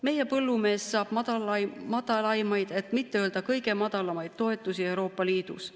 Meie põllumees saab madalamaid, et mitte öelda kõige madalamaid toetusi Euroopa Liidus.